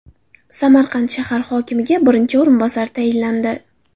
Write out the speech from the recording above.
Samarqand shahar hokimiga birinchi o‘rinbosar tayinlandi.